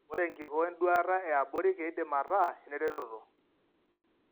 Ore enkikoo enduata eabori keidim ataa eneretoto.